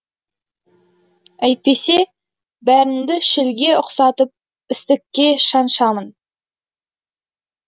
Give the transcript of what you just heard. әйтпесе бәріңді шілге ұқсатып істікке шаншамын